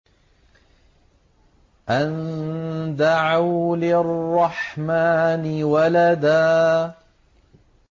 أَن دَعَوْا لِلرَّحْمَٰنِ وَلَدًا